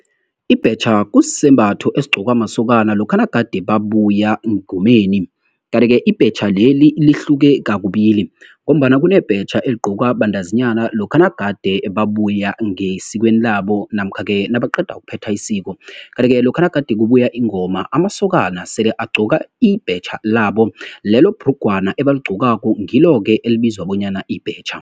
Ibhetjha kusisembatho esigqokwa masokana lokha nagade babuya engomeni. Kanti-ke, ibhetjha leli lihluke kakubili, ngombana kunebhetjha eligqokwa bantazinyana, lokha nagade babuye ngesikhuweni labo, namkha-ke nabaqeda ukuphetha isiko. Kanti-ke lokha nagade kubuya ingoma, amasokana sele agqoka ibhetjha labo, lelo bhrugwana ebaligqokako, ngilo-ke elibizwa bonyana libhetjha.